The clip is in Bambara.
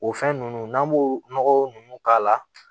O fɛn nunnu n'an b'o nɔgɔ nunnu k'a la